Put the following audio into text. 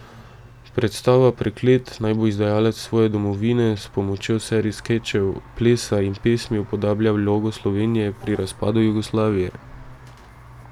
Predstava Preklet naj bo izdajalec svoje domovine s pomočjo serij skečev, plesa in pesmi upodablja vlogo Slovenije pri razpadu Jugoslavije.